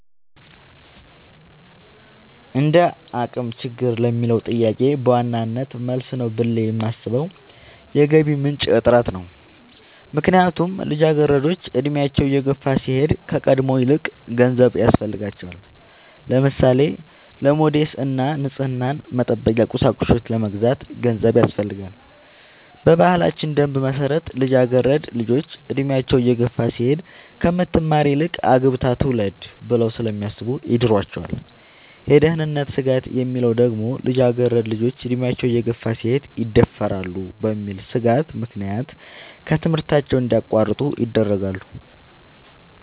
እንደአቅም ችግር ለሚለው ጥያቄ በዋናነት መልስ ነው ብሌ የማሥበው የገቢ ምንጭ እጥረት ነው። ምክንያቱም ልጃገረዶች አድሚያቸው እየገፋ ሲሄድ ከቀድሞው ይበልጥ ገንዘብ ያሥፈልጋቸዋል። ለምሳሌ:-ለሞዴስ እና ንፅህናን መጠበቂያ ቁሳቁሶች ለመግዛት ገንዘብ ያሥፈልጋል። በባህላችን ደንብ መሠረት ልጃገረድ ልጆች እድሚያቸው እየገፋ ሲሄድ ከምትማር ይልቅ አግብታ ትውለድ ብለው ስለሚያሥቡ ይድሯቸዋል። የደህንነት ስጋት የሚለው ደግሞ ልጃገረድ ልጆች አድሚያቸው እየገፋ ሲሄድ ይደፈራሉ በሚል ሥጋት ምክንያት ከትምህርታቸው እንዲያቋርጡ ይደረጋሉ።